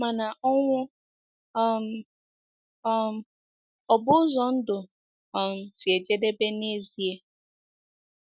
Mana ọnwụ um um ọ̀ bụ ụzọ ndụ um si ejedebe n'ezie?